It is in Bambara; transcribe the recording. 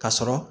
Ka sɔrɔ